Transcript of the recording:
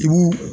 Dugu